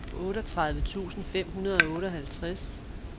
otteogtredive tusind fem hundrede og otteoghalvtreds